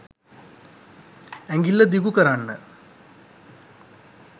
ඇඟිල්ල දිගු කරන්න